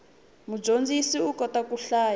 mudyondzisi u kota ku hlaya